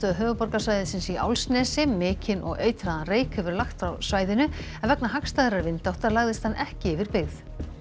höfuðborgarsvæðisins í Álfsnesi mikinn og eitraðan reyk hefur lagt frá svæðinu en vegna hagstæðrar vindáttar lagðist hann ekki yfir byggð